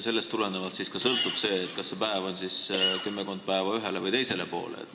Sellest sõltub, kas see päev võiks olla nihkunud kümmekond päeva ühele või teisele poole.